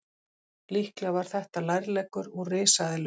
Líklega var þetta lærleggur úr risaeðlu.